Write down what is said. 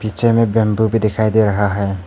पीछे में बंबू भी दिखाई दे रहा है।